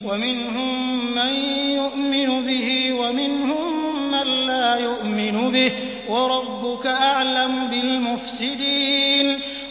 وَمِنْهُم مَّن يُؤْمِنُ بِهِ وَمِنْهُم مَّن لَّا يُؤْمِنُ بِهِ ۚ وَرَبُّكَ أَعْلَمُ بِالْمُفْسِدِينَ